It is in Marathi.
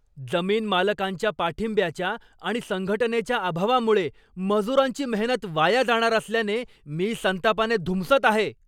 जमीनमालकांच्या पाठिंब्याच्या आणि संघटनेच्या अभावामुळे मजुरांची मेहनत वाया जाणार असल्याने मी संतापाने धुमसत आहे.